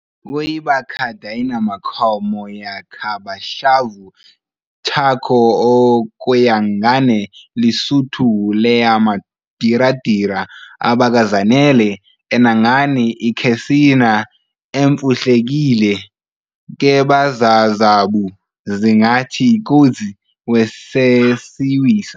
Kuyi, bachadiyenamkhomo yakabashavu-eTsakho-okuyangane leSutho leyamudidira abakazanele eNangani akhesina emfumhlekile keBazazavhu zingathi-ikozi weSesiwisa!